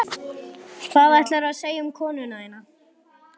Hvað ætlaðirðu að segja um konuna þína?